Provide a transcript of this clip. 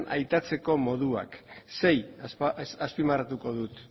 aitatzeko moduak sei azpimarratuko ditut